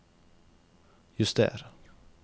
juster